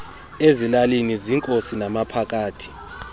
ezilalini ziinkosi namaphakathi